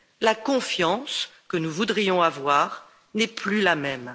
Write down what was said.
la confiance que nous voudrions avoir n'est plus la même.